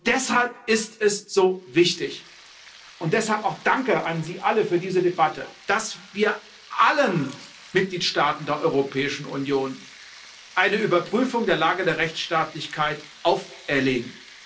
Deshalb ist es so wichtig und deshalb auch Danke an Sie alle für diese Debatte dass wir allen Mitgliedstaaten der Europäischen Union eine Überprüfung der Lage der Rechtsstaatlichkeit auferlegen.